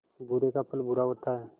बुरे का फल बुरा होता है